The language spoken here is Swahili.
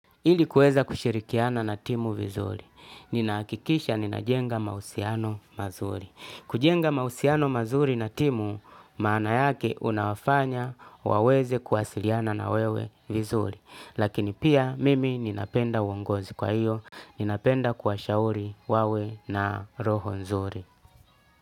Ili kuweza kushirikiana na timu vizuri, ninahakikisha ninajenga mahusiano mazuri. Kujenga mahusiano mazuri na timu, maana yake unawafanya waweze kuwasiliana na wewe vizuri. Lakini pia mimi ninapenda uongozi kwa hiyo, ninapenda kuwashauri wawe na roho nzuri.